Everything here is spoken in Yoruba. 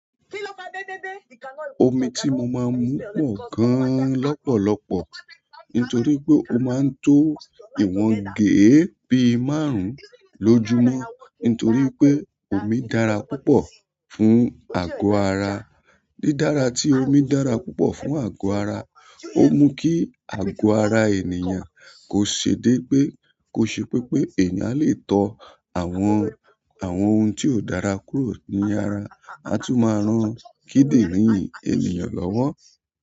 Omi tí mo máa ń mu pọ̀ gan lọ́pọ̀lọpọ̀ nítorí pé ó máa ń tó ìwọ̀n géè bí i márùn-ún lójúmọ́ nítorí pé omi dára púpọ̀ fún àgọ́ ara. Dí dára tí omi dára púpọ̀ fún àgọ́ ara, ó mú kí àgọ́ ara ènìyàn kò ṣe pé pé. Kó ṣe pé pé èyàn lè tọ àwọn, àwọn ohun tí ó dára kúrò ní ara, a tún máa rán kídìrín ènìyàn lọ́wọ́.